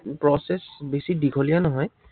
process বেছি দিঘলীয়া নহয়।